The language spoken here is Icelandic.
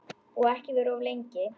Og ekki vera of lengi.